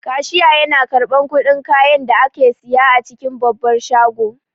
Kashiya yana karɓan kuɗin kayan da ake siya a cikin babbar shago